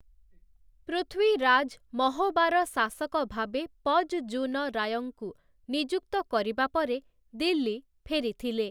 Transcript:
ପୃଥ୍ୱୀରାଜ୍, ମହୋବାର ଶାଶକ ଭାବେ ପଜ୍‌ଜୁନ ରାୟଙ୍କୁ ନିଯୁକ୍ତ କରିବା ପରେ ଦିଲ୍ଲୀ ଫେରିଥିଲେ ।